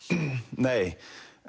nei